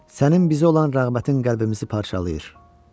Sənin bizə olan rəğbətin qəlbimizi parçalayır.